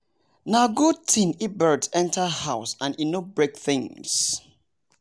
nah good thing if bird enter house and e no break things